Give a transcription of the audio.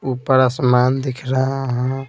ऊपर आसमान दिख रहा है।